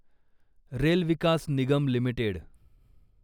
rail Vikas Nigam limited